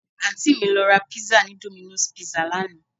Àǹtí mi lọ ra pizza ni Domino's Pizza lánàá